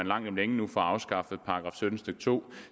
langt om længe får afskaffet § sytten stykke to